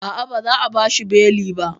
A'a, ba za a bashi beli ba